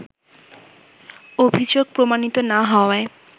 অভিযোগ প্রমাণিত না হওয়ায়